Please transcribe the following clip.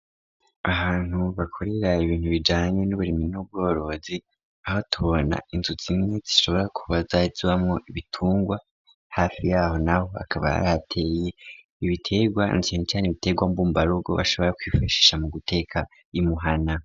Ahantu bakorera ibintu bijanye n'uburimyi no bworozi aho tubona insutsi mwe zishobora kubazazbamo ibitungwa hafi yaho naho akaba yarihateye ibitegwa nsencyane ibitegwa mbumbarugo bashobora kwifashisha mu guteka imuhana.